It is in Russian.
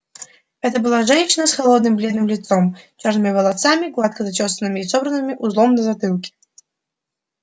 это была женщина с холодным бледным лицом чёрными волосами гладко зачёсанными и собранными узлом на затылке